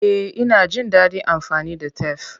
Eh, ina jin dadin amfani da tef.